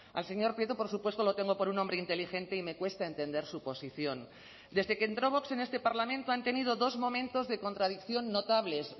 al señor prieto por supuesto lo tengo por un hombre inteligente y me cuesta entender su posición desde que entró vox en este parlamento han tenido dos momentos de contradicción notables